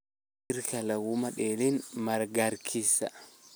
Jiirka lakumadalin magarkisa.